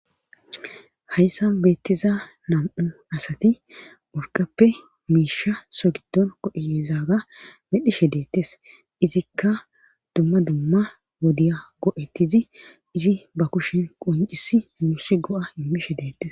hayssan beettiza nam'u asati urqappe miisha so gidon kodheezaaga medhishe deettes izikka dumma dumma wodiya go'ettizi izi ba kushin qoncisi uusi go'a imishe deettes